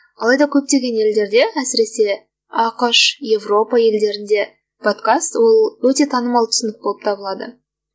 алайда көптеген елдерде әсіресе ақш европа елдерінде подкаст ол өте танымал түсінік болып табылады